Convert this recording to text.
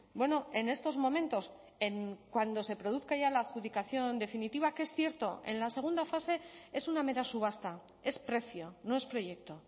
bueno en estos momentos cuando se produzca ya la adjudicación definitiva que es cierto en la segunda fase es una mera subasta es precio no es proyecto